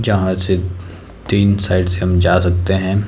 जहां से तीन साइड से हम जा सकते हैं।